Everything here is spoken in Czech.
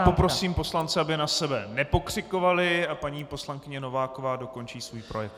Já poprosím poslance, aby na sebe nepokřikovali, a paní poslankyně Nováková dokončí svůj projev.